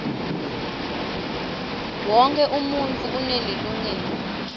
wonkhe umuntfu unelilungelo